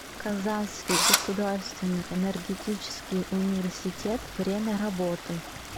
казанский государственный энергетический университет время работы